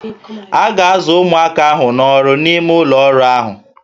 A ga-azụ ụmụaka ahụ n'ọrụ n'ime ụlọ ọrụ ahụ